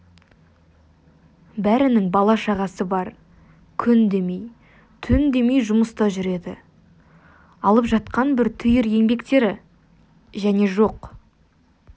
бәрінің бала-шағасы бар күн демей түн демей жұмыста жүреді алып жатқан бір түйір еңбектері және жоқ